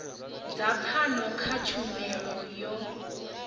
dza pfano kha tshumelo yo